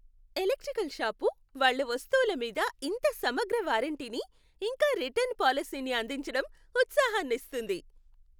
Electrical shop, వాళ్ళ వస్తువుల మీద ఇంత సమగ్ర వారంటీని, ఇంకా రిటర్న్ పాలసీని అందించడం ఉత్సాహనిస్తుంది.